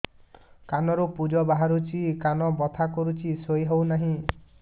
କାନ ରୁ ପୂଜ ବାହାରୁଛି କାନ ବଥା କରୁଛି ଶୋଇ ହେଉନାହିଁ